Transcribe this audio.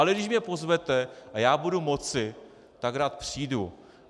Ale když mě pozvete a já budu moci, tak rád přijdu.